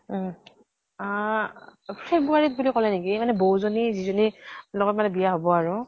উম । অহ february ত বুলি কলে নেকি ? মানে বৌজনী যিজনীৰ লগত মানে বিয়া হব আৰু